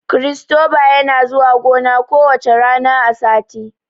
Kiristoba yana zuwa gona ku wacca rana a sati